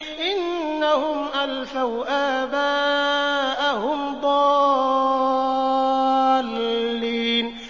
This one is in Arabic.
إِنَّهُمْ أَلْفَوْا آبَاءَهُمْ ضَالِّينَ